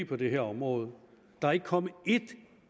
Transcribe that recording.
på det her område der er ikke kommet et